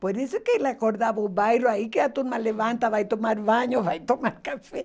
Por isso que ele acordava o bairro, aí que a turma levanta, vai tomar banho, vai tomar café.